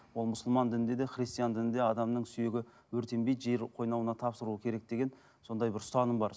ол мұсылман дінінде де христиан дінінде адамның сүйегі өртенбейді жер қойнауына тапсыру керек деген сондай бір ұстаным бар